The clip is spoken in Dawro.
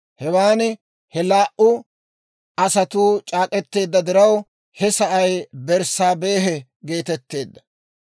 Hewaan he laa"u asatuu c'aak'k'eteedda diraw, he sa'ay Berssaabehe geetetteedda.